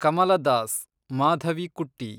ಕಮಲ Das (ಮಾಧವಿಕುಟ್ಟಿ)